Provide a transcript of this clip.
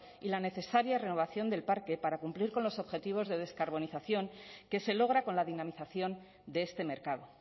y la necesaria renovación del parque para cumplir con los objetivos de descarbonización que se logra con la dinamización de este mercado